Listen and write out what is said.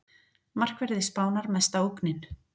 Markverðir Spánar mesta ógnin